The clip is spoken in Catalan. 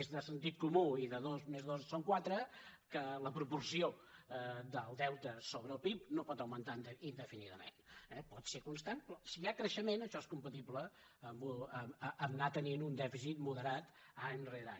és de sentit comú i de dos més dos són quatre que la proporció del deute sobre el pib no pot augmentar indefinidament eh pot ser constant però si hi ha creixement això és compatible amb anar tenint un dèficit moderat any rere any